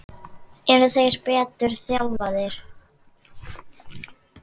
Eru þeir betur þjálfaðir?